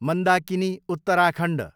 Mandakini, Uttarakhand